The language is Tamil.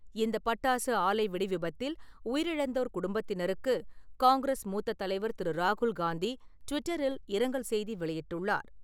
இந்த பட்டாசு ஆலை வெடிவிபத்தில் உயிரிழந்தோர் குடும்பத்தினருக்கு காங்கிரஸ் மூத்த தலைவர் திரு. ராகுல் காந்தி ட்விட்டரில் இரங்கல் செய்தி வெளியிட்டுள்ளார் .